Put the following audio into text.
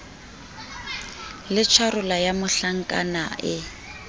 le tjharola ya mohlankana e